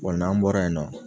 Bɔn n'an bɔra yen nɔ